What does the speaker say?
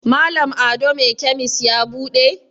Malam ado me kemis ya bude?